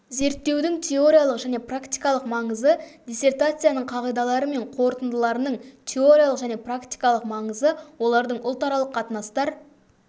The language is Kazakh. зерттеудің теориялық және практикалық маңызы диссертацияның қағидалары мен қорытындыларының теориялық және практикалық маңызы олардың ұлтаралық қатынастар